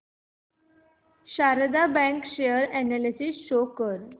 Sharda bank share analysis show कर